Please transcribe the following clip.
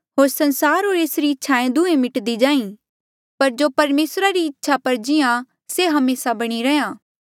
होर संसार होर ऐसरी इच्छाएं दुहें मिट्दी जाहीं पर जो परमेसरा री इच्छा पर जिहां से हमेसा बणी रैंहयां